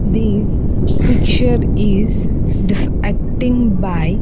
This picture is defecting by --